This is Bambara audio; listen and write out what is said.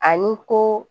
Ani ko